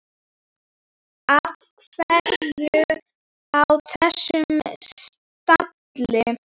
Af hverju á þessum stalli?